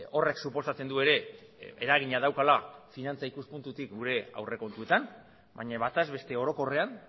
horrek suposatzen du ere eragina daukala finantza ikuspuntutik gure aurrekontuetan baina bataz beste orokorrean